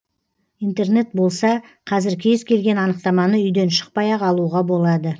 интернет болса қазір кез келген анықтаманы үйден шықпай ақ алуға болады